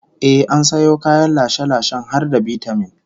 Ehh, an sayo kayan lashe-lashen har da bitamin